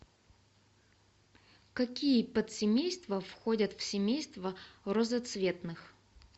какие подсемейства входят в семейство розоцветных